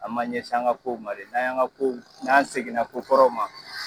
An b'an ɲɛsin an ka kow ma de. N'an y'an ka kow, n'an segin na ko kɔrɔw ma